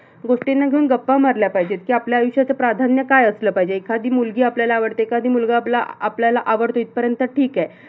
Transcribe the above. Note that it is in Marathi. गोष्टींना घेऊन गप्पा मारल्या पाहिजे. की आपल्या आयुष्यच प्राधान्य काय असलं पाहिजे? की एखादी मुलगी आपल्याला आवडते. एखादा मुलगा आपला आपल्याला आवडतो इथपर्यंत ठीक आहे.